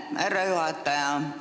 Aitäh, härra juhataja!